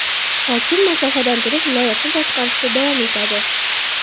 Hokim masofadan turib viloyatni boshqarishda davom etadi.